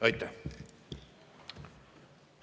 Aitäh!